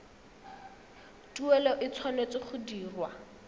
tuelo e tshwanetse go dirwa